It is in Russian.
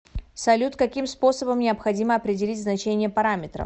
салют каким способом необходимо определить значение параметров